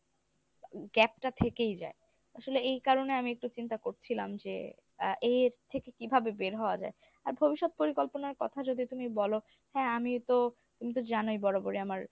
gap টা থেকেই যায় আসলে এই কারণে আমি একটু চিন্তা করছিলাম যে আ এর থেকে কিভাবে বের হওয়া যায়, আর ভবিষ্যৎ পরিকল্পনার কথা যদি তুমি বলো হ্যাঁ আমি তো তুমি তো জানোই বরাবরই আমার